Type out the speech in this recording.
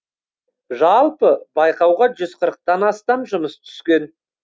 жалпы байқауға жүз қырықтан астам жұмыс түскен